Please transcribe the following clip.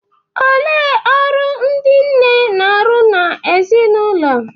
Olee ọrụ ndị nne na-arụ n’ezinụlọ?